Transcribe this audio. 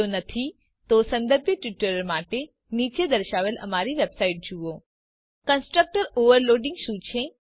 જો નહી તો સંબંધિત ટ્યુટોરીયલ માટે નીચે દર્શાવેલ અમારી વેબસાઈટ જુઓ httpwwwspoken tutorialઓર્ગ કન્સ્ટ્રક્ટર ઓવરલોડિંગ શું છે